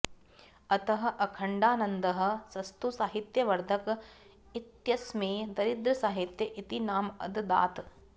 अतः अखण्डानन्दः सस्तु साहित्य वर्धक इत्यस्मै दरिद्र साहित्य इति नाम अददात्